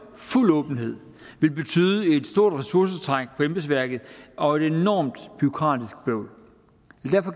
fuld åbenhed vil betyde et stort ressourcetræk på embedsværket og et enormt bureaukratisk bøvl